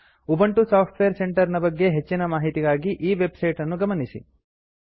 Ubuntu software centre ನ ಬಗ್ಗೆ ಹೆಚ್ಚಿನ ಮಾಹಿತಿಗಾಗಿ ಈ ವೆಬ್ ಸೈಟ್ ಅನ್ನು ಗಮನಿಸಿ